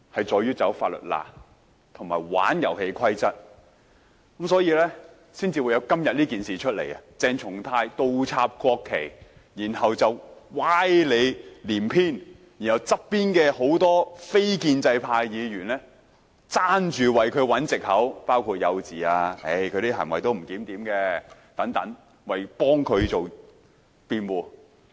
在鑽法律空子和玩弄遊戲規則，所以才會發生今次鄭松泰議員倒插國旗事件，然後歪理連篇，而旁邊眾多位非建制派議員都爭相為他找藉口，說他幼稚、他的行為不檢點等，為他辯護。